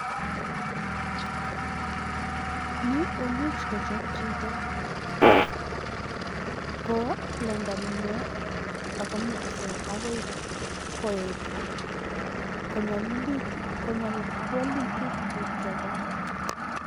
nii komuuchut kochop chito koplendan inee kowalagitu tukchotok